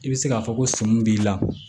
I bɛ se k'a fɔ ko sɔmi b'i la